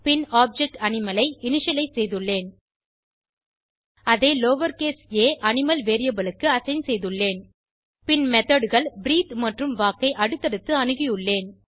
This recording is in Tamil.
பின் ஆப்ஜெக்ட் அனிமல் ஐ இனிஷியலைஸ் செய்துள்ளேன் அதை லவர்கேஸ் ஆ அனிமல் வேரியபிள் க்கு அசைன் செய்துள்ளேன் பின் methodகள் பிரீத்தே மற்றும் வால்க் ஐ அடுத்தடுத்து அணுகியுள்ளேன்